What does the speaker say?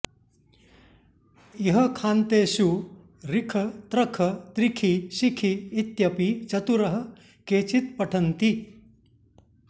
इह खान्तेषु रिख त्रख त्रिखि शिखि इत्यपि चतुरः केचित्पठन्ति